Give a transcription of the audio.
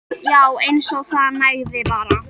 Já. eins og það nægði bara.